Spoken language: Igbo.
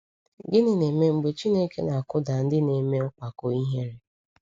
Gịnị na-eme mgbe Chineke na-akụda ndị na-eme mpako ihere?